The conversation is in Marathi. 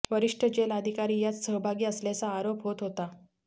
वरिष्ट जेल अधिकारी यात सहभागी असल्याचा आरोप होत आहे